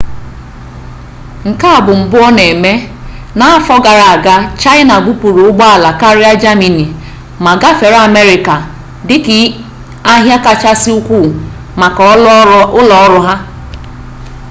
nke a bụ mbụ ọ na-eme n'afọ gara aga chaịna bupuru ụgbọala karịa jamani ma gafere amerịka dịka ahịa kachasị ukwu maka ụlọọrụ a